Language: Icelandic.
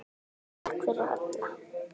Takk fyrir, Holla.